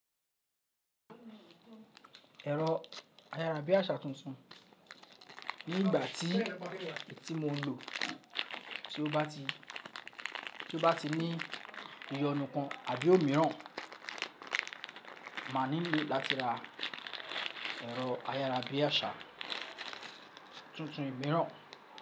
Ẹ̀rọ ayára bí àṣá tuntun nígbà tí etí mo ń lò tí ó bá ti ní iyonú kan àbí òmíràn máa nílò láti ra ẹ̀rọ ayára bí àṣá tuntun imíràn.